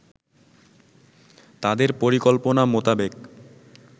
তাদের পরিকল্পনা মোতাবেক